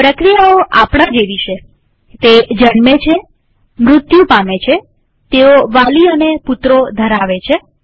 પ્રક્રિયાઓ આપણા જેવી છેતે જન્મે છેમૃત્યુ પામે છેતેઓ વાલી અને પુત્રો ધરાવે છે